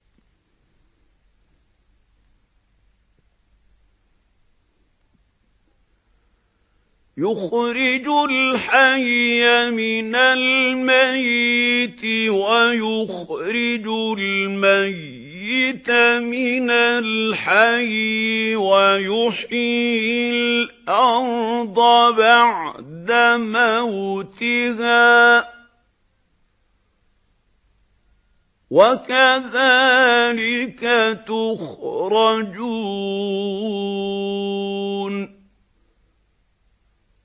يُخْرِجُ الْحَيَّ مِنَ الْمَيِّتِ وَيُخْرِجُ الْمَيِّتَ مِنَ الْحَيِّ وَيُحْيِي الْأَرْضَ بَعْدَ مَوْتِهَا ۚ وَكَذَٰلِكَ تُخْرَجُونَ